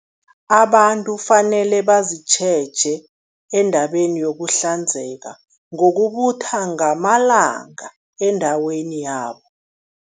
Abantu fanele bazitjheje endabeni yokuhlanzeka ngokubutha ngamalanga endaweni yabo.